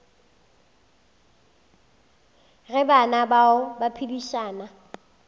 ge bana bao ba phedišana